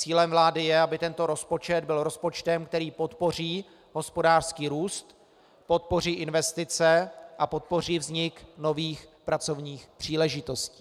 Cílem vlády je, aby tento rozpočet byl rozpočtem, který podpoří hospodářský růst, podpoří investice a podpoří vznik nových pracovních příležitostí.